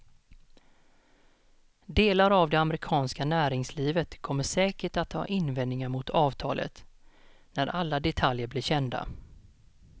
Delar av det amerikanska näringslivet kommer säkert att ha invändningar mot avtalet när alla detaljer blir kända.